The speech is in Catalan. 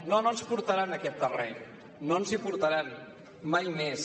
no no ens portaran en aquest terreny no ens hi portaran mai més